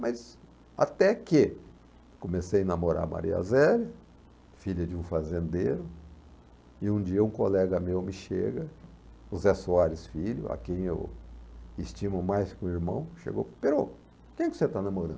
Mas até que comecei a namorar Maria zélia, filha de um fazendeiro, e um dia um colega meu me chega, José Soares, filho, a quem eu estimo mais que um irmão, chegou e perguntou, Perocco, quem que você está namorando?